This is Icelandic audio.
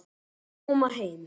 Að koma heim